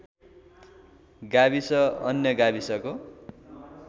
गाविस अन्य गाविसको